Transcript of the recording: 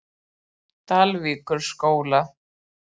Dalvíkurskóla